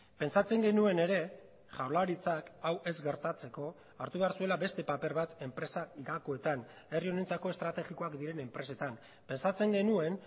pentsatzen genuen ere jaurlaritzak hau ez gertatzeko hartu behar zuela beste paper bat enpresa gakoetan herri honentzako estrategikoak diren enpresetan pentsatzen genuen